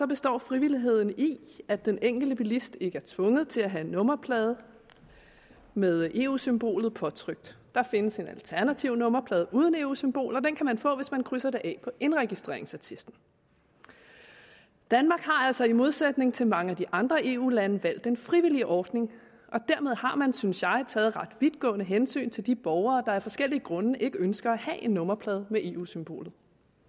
består frivilligheden i at den enkelte bilist ikke er tvunget til at have en nummerplade med eu symbolet påtrykt der findes en alternativ nummerplade uden eu symbol og den kan man få hvis man krydser det af på indregistreringsattesten danmark har altså i modsætning til mange af de andre eu lande valgt en frivillig ordning og dermed har man synes jeg taget ret vidtgående hensyn til de borgere der af forskellige grunde ikke ønsker at have en nummerplade med eu symbolet